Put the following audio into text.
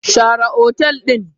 Share hotel din!